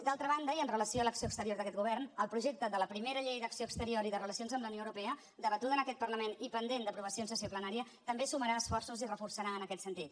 d’altra banda i amb relació a l’acció exterior d’aquest govern el projecte de la primera llei d’acció exterior i de relacions amb la unió europea debatuda en aquest parlament i pendent d’aprovació en sessió plenària també sumarà esforços i reforçarà en aquest sentit